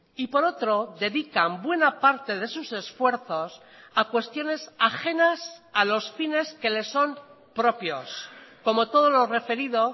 y por otro dedican buena parte de sus esfuerzos a cuestiones ajenas a los fines que les son propios como todo lo referido